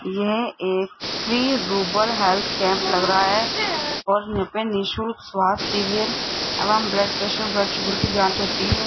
यह एक फ्री रुबर हेल्थ कैंप लग रहा है और यहां पे निशुल्क स्वास्थ्य शिविर एवं ब्लड प्रेशर की जांच होती है।